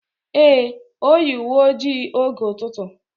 Ee, Oyi uwe ojii oge ututu.